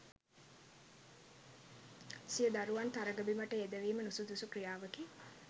සිය දරුවන් තරඟ බිමට යෙදවීම නුසුදුසු ක්‍රියාවකි